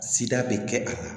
Sida bɛ kɛ a la